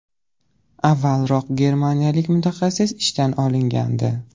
Avvalroq germaniyalik mutaxassis ishdan olingandi .